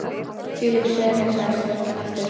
Þvílík sería sagði stúlkan aftur.